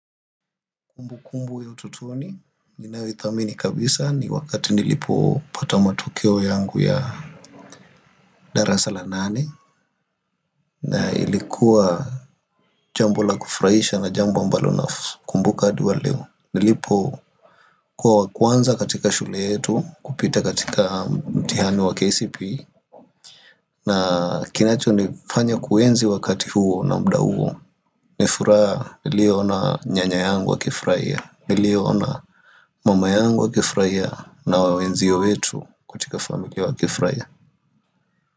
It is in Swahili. Kumbu kumbu ya utotoni, ninayoithamini kabisa ni wakati nilipo pata matokeo yangu ya dara sala nane na ilikuwa jambo la kufuraisha na jambo ambalo na kumbuka adi wa leo Nilipo kuwa wakuanza katika shule yetu, kupita katika mtihani wa KCP na kinacho nifanya kuenzi wakati huo na mda huo ni furaha ilio ona nyanya yangu wa kifraia Nili ona mama yangu wa kifraia na wenzio wetu kutika familia wa kifraia.